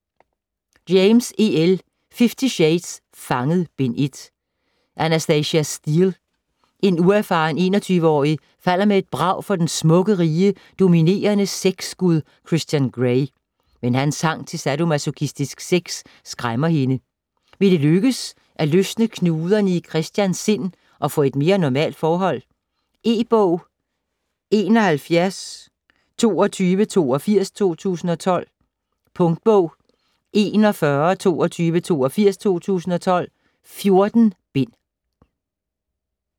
James, E. L.: Fifty shades: Fanget: Bind 1 Anastasia Steele, en uerfaren 21-årig, falder med et brag for den smukke, rige, dominerende sexgud Christian Grey. Men hans trang til sadomasochistisk sex skræmmer hende. Vil det lykkes at løsne knuderne i Christians sind og få et mere normalt forhold? E-bog 712282 2012. Punktbog 412282 2012. 14 bind.